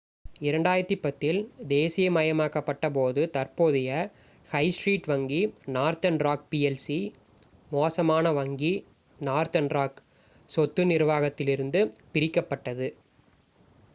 2010 இல் தேசீயமயமாக்கப்பட்ட போது தற்போதைய ஹை ஸ்ட்ரீட் வங்கி northern rock plc 'மோசமான வங்கி’ northern rock சொத்து நிர்வாகம் இலிருந்து பிரிக்கப்பட்டது